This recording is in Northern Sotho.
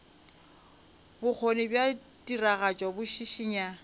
bokgoni bja tiragatšo bo šišinya